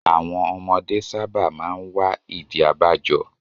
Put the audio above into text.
Àwọn ọmọdé sábà máa ń wá ìdí abájọ.